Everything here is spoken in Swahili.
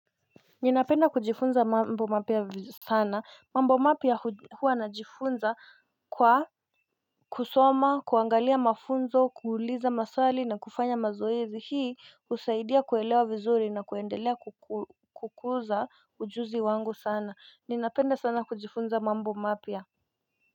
Ninapenda kujifunza mambo mapya sana mambo mapya huwa najifunza kwa kusoma kuangalia mafunzo kuuliza maswali na kufanya mazoezi hii husaidia kuelewa vizuri na kuendelea kukuza ujuzi wangu sana ninapenda sana kujifunza mambo mapya.